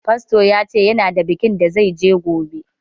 Fasto ya ce ya na da bikin da zai je gobe